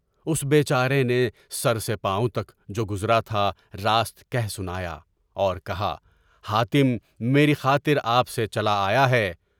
اس بیچارے نے سر سے پاؤں تک جو گزرا تھا راست کہہ سنایا اور کہا حاتم میری خاطر آپ سے چلا آیا ہے۔